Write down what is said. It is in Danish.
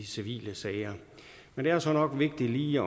civile sager men det er så nok vigtigt lige